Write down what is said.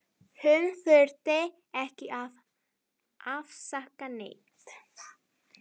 Hún þurfti ekki að afsaka neitt.